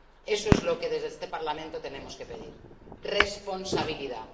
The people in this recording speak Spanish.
Eso es lo que desde este Parlamento tenemos que pedir responsabilidad.